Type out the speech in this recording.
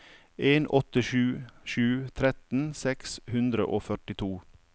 en åtte sju sju tretten seks hundre og førtito